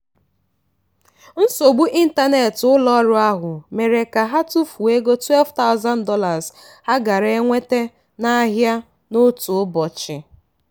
nsogbu ịntanetị ụlọọrụ ahụ nwere mere ka ha tụfuo ego $12000 ha gaara enweta n'ahịa n'otu ụbọchị.